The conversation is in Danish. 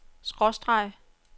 skråstreg